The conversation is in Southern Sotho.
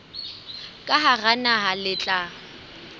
ka hara naha le tla